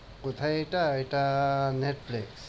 কোথায় এটা? এটা Netflix